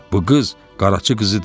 Bu qız Qaracı qızı deyil.